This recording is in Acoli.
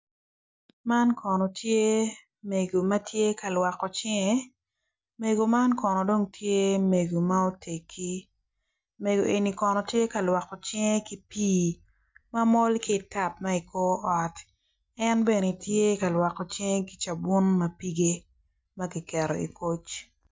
Man kono tye mego ma tye ka lwoko cinge mego man kono tye mego ma oteggi mego eni kono tye ka lwoko cinge ki pii ma mol ki i tap ma i kor ot